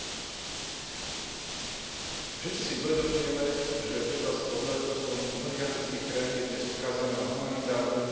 Všetci si uvedomujeme, že obyvateľstvo mnohých afrických krajín je dnes odkázané na humanitárnu pomoc z vyspelých krajín.